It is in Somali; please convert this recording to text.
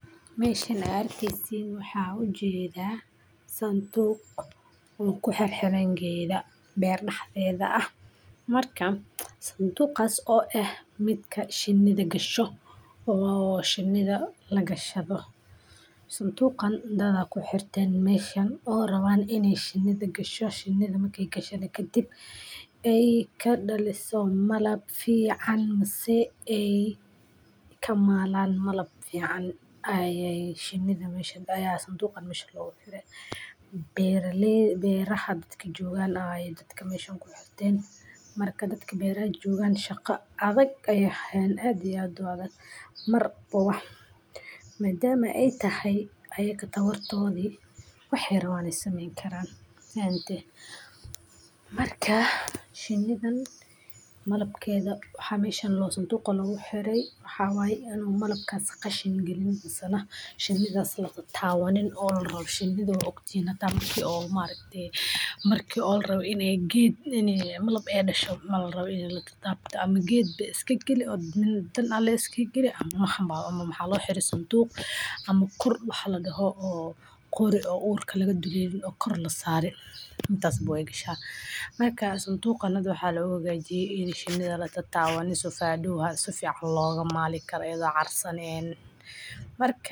Meshan aad arkeysin waxan u jeeda santuuq un ku xir xiran geeda beer dhaxdeeda ah. Marka santuuqas oo ah mid ka shiinida gasho oo shiinida la gashado. Santuuqan dadka ku xirtay mayshan oo raba inay shiin u gasho shiinada ma ka gashan haddii ay ka dhaliso malab fiican, masaeey ka maalaan malab fiican ayay shiinida mayshadda ayaa santuuqan mayshan loo guulay beeralay beeraha dadka joogaana ay dadka mayshanku xirtay marka dadka beeraad joogaan shaqo adag ay hayn aad iyo aad wada mar boowah. Ma daama ei tahay ayekatoo war toodi waxaanay rabaan sameyn karaan. Hante markaa shiinidan malabkeeda waxaa mayshan loo santuuqo lagu xiray. Waxaa waay inuu malamkaas ka shiini gelin masala shiinidaas la taataan. Waa nin oo lol rab shiinida uu ugu jeebo maki ol maalintii markii ol rabi inay gid inay malab ee dhasho mal rabi in la taataabta ama gid iskageli oo dan dan ale iskageli ama xamu xamu maxaa loo xiriir santuuq. Ama kordh waxaa laga hooyo koori oo uurka laga dilay in koro la saaray intaas booy gashaa. Markaa santuuqanadu waxaa loogu gajiyeey in shiinida la taataan waa ni so foeduhu ha si fiican looga maali karayda carsan ee marka.